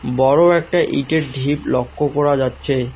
বড়ো একটা ইটের ঢিপ লক্ষ্য করা যাচ্ছে।